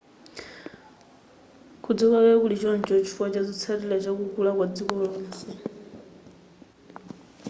kudziwika kwake kuli choncho chifukwa chazotsatira chakukula kwa dziko lonse